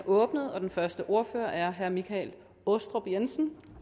åbnet og den første ordfører er herre michael aastrup jensen